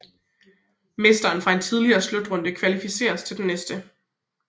Mesteren fra en tidligere slutrunde kvalificeres til den næste